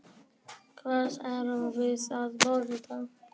Hvað erum við að borða?